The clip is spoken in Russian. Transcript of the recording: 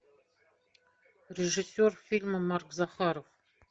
режиссер фильма марк захаров